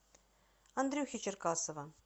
андрюхи черкасова